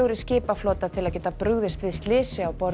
skipaflota til að geta brugðist við slysi á borð